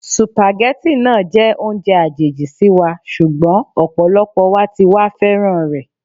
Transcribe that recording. Sùpàgẹ́tì náà jẹ́ oúnjẹ àjèjì sí wa, ṣùgbọ́n ọ̀pọ̀lọpọ̀ wa ti wá féràn rẹ̀.